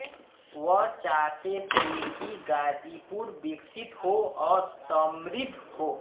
वह चाहते थे कि गाजीपुर विकसित हो और समृद्ध हो